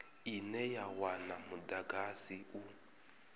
ine ya wana mudagasi u